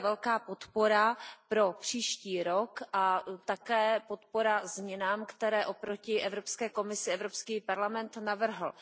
To je velká podpora pro příští rok a také podpora změnám, které oproti Evropské komisi Evropský parlament navrhl.